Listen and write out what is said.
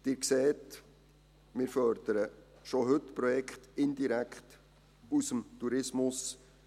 Sie sehen, wir fördern schon heute Projekte indirekt aus dem Tourismus.